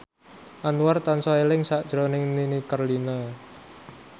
Anwar tansah eling sakjroning Nini Carlina